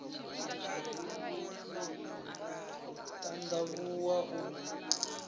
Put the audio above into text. u t and avhuwa u